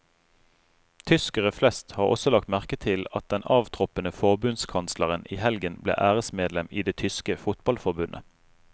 Tyskere flest har også lagt merke til at den avtroppende forbundskansleren i helgen ble æresmedlem i det tyske fotballforbundet.